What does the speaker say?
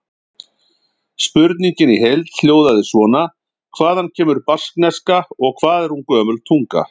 Spurningin í heild hljóðaði svona: Hvaðan kemur baskneska og hvað er hún gömul tunga?